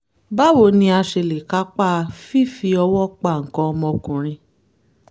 báwo ni a ṣe lè kápa fífi ọwọ́ pa nǹkan ọmọkùnrin?